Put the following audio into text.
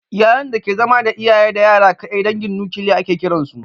Iyalan da ke zama da iyaye da yara kaɗai dangin nukiliya ake kiran su